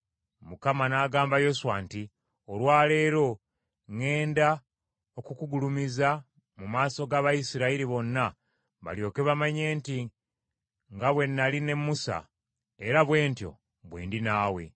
Mukama n’agamba Yoswa nti, “Olwa leero ŋŋenda okukugulumiza mu maaso g’Abayisirayiri bonna balyoke bamanye nti nga bwe nnali ne Musa, era bwe ntyo bwe ndi naawe.